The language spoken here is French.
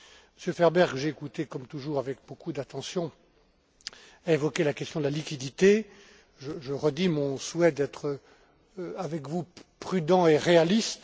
Monsieur Ferber, que j'ai écouté comme toujours avec beaucoup d'attention, a évoqué la question de la liquidité. Je redis mon souhait d'être avec vous prudent et réaliste.